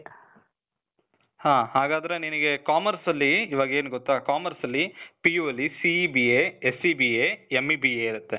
ಹಾ, ಹಾಗಾದ್ರೆ ನಿನಿಗೆ commerce ಅಲ್ಲಿ ಇವಾಗ್ ಏನ್ ಗೊತ್ತಾ, commerce ಅಲ್ಲಿ PU ಅಲ್ಲಿ CEBA, SEBA, MEBA ಇರತ್ತೆ.